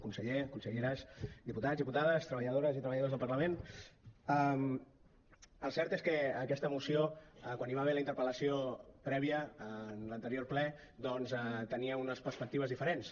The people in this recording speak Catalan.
conseller conselleres diputats diputades treballadores i treballadors del parlament el cert és que aquesta moció quan hi va haver la interpellació prèvia a l’anterior ple doncs tenia unes perspectives diferents